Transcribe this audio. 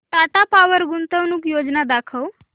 Tata power गुंतवणूक योजना दाखव